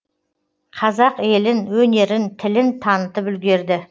қазақ елін өнерін тілін танытып үлгерді